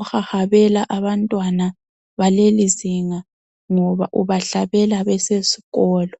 ohahabela abantwana balelizinga ngoba ubahlabela besezikolo.